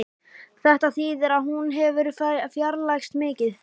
Þetta þýðir að hún hefur fjarlægst mikið